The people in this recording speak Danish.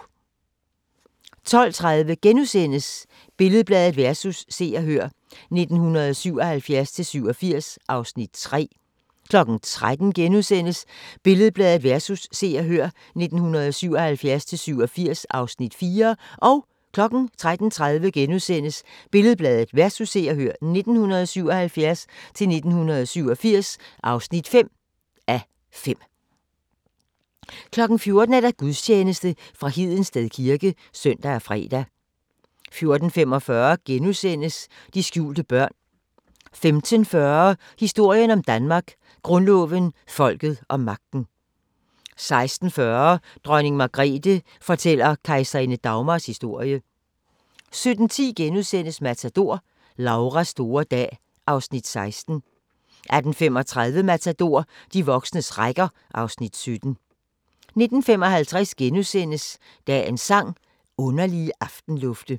12:30: Billed-Bladet vs. Se og Hør (1977-1987) (3:5)* 13:00: Billed-Bladet vs. Se og Hør (1977-1987) (4:5)* 13:30: Billed-Bladet vs. Se og Hør (1977-1987) (5:5)* 14:00: Gudstjeneste fra Hedensted kirke (søn og fre) 14:45: De skjulte børn * 15:40: Historien om Danmark: Grundloven, folket og magten 16:40: Dronning Margrethe fortæller kejserinde Dagmars historie 17:10: Matador - Lauras store dag (Afs. 16)* 18:35: Matador - de voksnes rækker (Afs. 17) 19:55: Dagens Sang: Underlige aftenlufte *